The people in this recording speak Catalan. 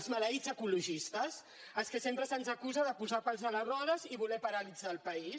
els maleïts ecologistes als que sempre se’ns acusa de posar pals a les rodes i voler paralitzar el país